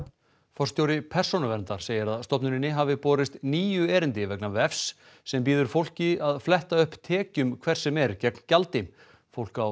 forstjóri Persónuverndar segir að stofnuninni hafi borist níu erindi vegna vefs sem býður fólki að fletta upp tekjum hvers sem er gegn gjaldi fólk á